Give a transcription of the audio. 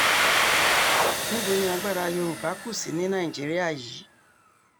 níbo ni agbára yorùbá kù sí ní nàìjíríà yìí